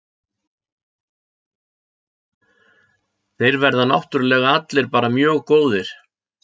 Þeir verða náttúrlega allir bara mjög góðir.